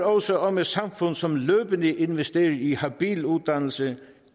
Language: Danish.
også om et samfund som løbende investerer i habil uddannelse